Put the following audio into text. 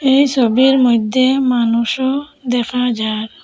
এই সোবির মইদ্যে মানুষও দেখা যার।